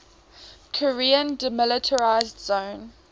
korean demilitarized zone